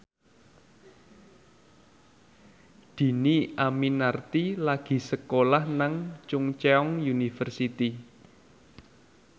Dhini Aminarti lagi sekolah nang Chungceong University